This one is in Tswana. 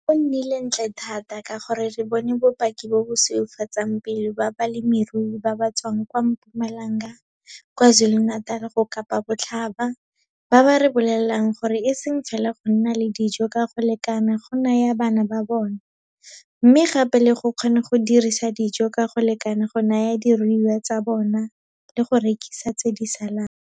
Go nnile ntle thata ka gore re bone bopaki bo bo sweufatsang pelo ba balemirui ba ba tswang kwa Mpumalanga, KwaZulu-Natal go Kapabotlhaba, ba ba re bolelang gore e seng fela go nna le dijo ka go lekana go naya bana ba bona, mme gape le go kgona go dirisa dijo ka go lekana go naya diruiwa tsa bona le go rekisa tse di salang.